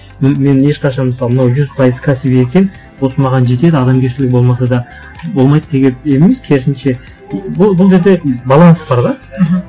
мен ешқашан мысалы мынау жүз пайыз кәсіби екен осы маған жетеді адамгершілігі болмаса да болмайды деген емес керісінше бұл жерде баланс бар да мхм